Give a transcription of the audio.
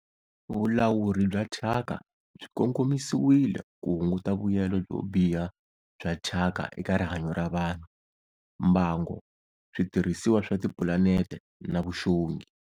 Vulawuri bya thyaka byi kongomisiwile ku hunguta vuyelo byo biha bya thyaka eka rihanyo ra vanhu, mbango, switirhisiwa swa tipulanete na vuxongi.